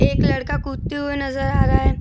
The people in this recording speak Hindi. एक लड़का कूदते हुए नज़र आ रहा हैं।